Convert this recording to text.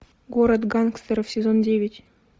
город гангстеров сезон девять